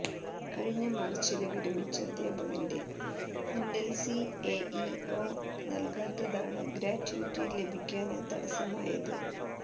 കഴിഞ്ഞ മാര്ച്ചില് വിരമിച്ച അദ്ധ്യാപകന്റെ എന്എല്സി എഇഒ നല്കാത്തതാണ് ഗ്രാറ്റ്വിറ്റി ലഭിക്കാന് തടസ്സമായത്